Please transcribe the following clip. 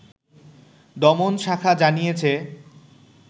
দমন শাখা জানিয়েছে